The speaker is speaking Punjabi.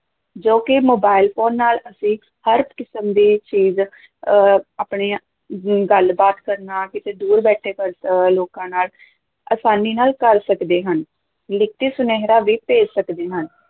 ਜੋ ਕਿ ਮੋਬਾਇਲ ਫ਼ੋਨ ਨਾਲ ਅਸੀਂ ਹਰ ਕਿਸਮ ਦੀ ਚੀਜ਼ ਅਹ ਆਪਣੀ ਗੱਲ ਬਾਤ ਕਰਨਾ ਕਿਤੇ ਦੂਰ ਬੈਠੇ ਪ ਅਹ ਲੋਕਾਂ ਨਾਲ ਆਸਾਨੀ ਨਾਲ ਕਰ ਸਕਦੇ ਹਨ, ਲਿਖਤੀ ਸੁਨੇਹਾਂ ਵੀ ਭੇਜ ਸਕਦੇ ਹਾਂ।